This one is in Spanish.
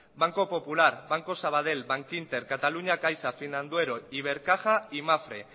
banco popular banco sabadell bankinter cataluña caixa finanduero ibercaja y mapfre